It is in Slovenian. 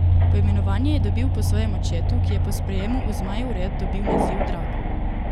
Poimenovanje je dobil po svojem očetu, ki je po sprejemu v Zmajev red dobil naziv Drakul.